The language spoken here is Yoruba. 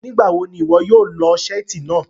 Nigbawo ni iwọ yóò lọọ seeti naa?